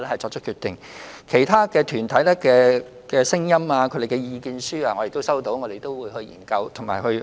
至於其他團體的建議和意見書，我們已經收到，將會研究和審視。